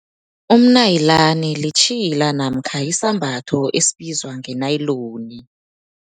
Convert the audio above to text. Umnayilani litjhila namkha yisambatho esibizwa ngenayiloni.